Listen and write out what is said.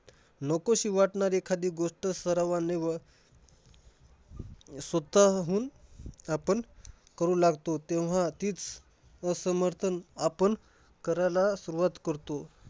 नकोशी वाटणारी एखादी गोष्ट सरावाने स्वतःहून आपण करू लागतो तेव्हा तीच असमर्थन आपण करायला सुरवात करतो.